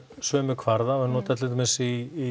sömu kvarða og eru notaðir til dæmis í